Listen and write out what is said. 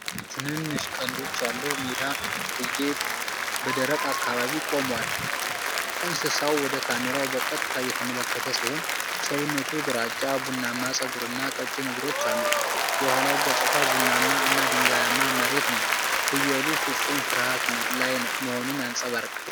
ትንንሽ ቀንዶች ያለው የሜዳ ፍየል በደረቅ አካባቢ ቆሟል። እንስሳው ወደ ካሜራው በቀጥታ እየተመለከተ ሲሆን፣ ሰውነቱ ግራጫ፣ ቡናማ ፀጉርና ቀጭን እግሮች አሉት፤ የኋላው ገጽታ ቡናማ እና ድንጋያማ መሬት ነው። ፍየሉ ፍጹም ፍርሃት ላይ መሆኑን ያንጸባርቃል።